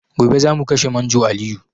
Gobe zamu kashe manjo Aliyu